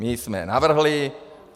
My jsme navrhli.